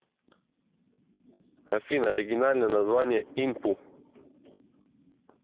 афина оригинальное название инпу